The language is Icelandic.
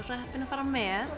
svo heppin að fara með